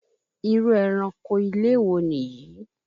Irú eranko ilé wo Nìyí?